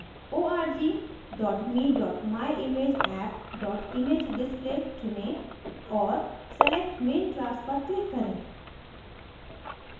org me myimageapp imagedisplay चुनें और select main class पर click करें